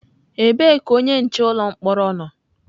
Ebee ka onye nche ụlọ mkpọrọ nọ?